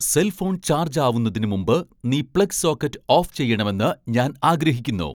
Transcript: cell phone charge ആവുന്നതിന് മുമ്പ് നീ പ്ലഗ് സോക്കറ്റ് ഓഫ് ചെയ്യണമെന്ന് ഞാൻ ആഗ്രഹിക്കുന്നു